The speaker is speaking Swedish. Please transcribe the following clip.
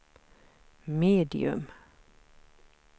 medium